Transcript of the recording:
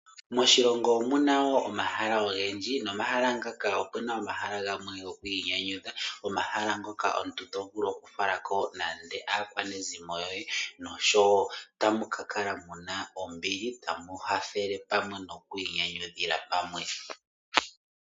Moshilongo omuna woo omahala oge ndji, nomahala ngaka opuna omahala gamwe go kwii nyanyudha. Omahala ngoka omuntu tovulu oku falako mande aakwanezimo yoye, nosho woo tamu kakala muna ombili tamu hafele pamwe nokwii nyanyudhila pamwe.